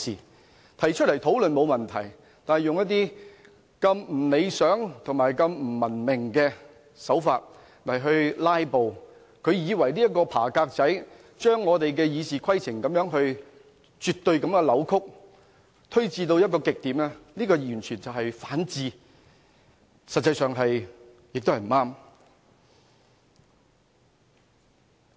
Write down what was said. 他們提出來討論，這並沒有問題，但他們以如此不理想和不文明的手法"拉布"，如此鑽研，把我們的《議事規則》絕對地扭曲，推至極點，這完全是反智，實際上也是不對。